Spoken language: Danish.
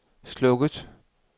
slukket